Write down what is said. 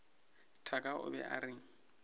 thaka o be o reng